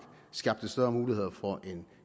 skabte større muligheder for en